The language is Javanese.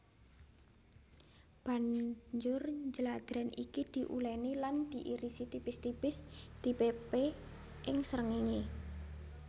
Banjur jladrèn iki diulèni lan diiris tipis tipis dipépé ing srengéngé